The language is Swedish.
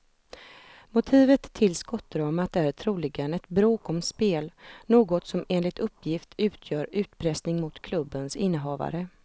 Motivet till skottdramat är troligen ett bråk om spel, något som enligt uppgift utgör utpressning mot klubbens innehavare.